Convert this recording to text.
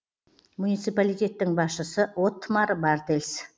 муниципалитеттің басшысы оттмар бартельс